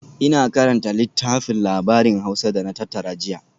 Ina karanta littafin labarin Hausa da na tattara jiya